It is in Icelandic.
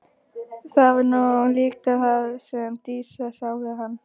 Það var nú líka það sem Dísa sá við hann.